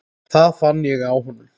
Það fann ég á honum.